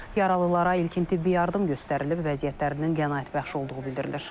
Yaralılara ilkin tibbi yardım göstərilib, vəziyyətlərinin qənaətbəxş olduğu bildirilir.